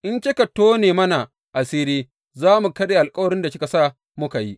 In kika tone mana asiri, za mu karya alkawarin da kika sa muka yi.